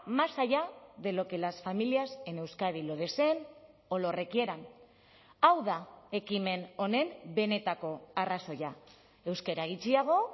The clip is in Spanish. más allá de lo que las familias en euskadi lo deseen o lo requieran hau da ekimen honen benetako arrazoia euskara gutxiago